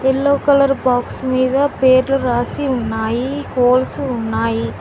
Yellow colour box మీద పేర్లు రాసి ఉన్నాయి హోల్స్ ఉన్నాయి.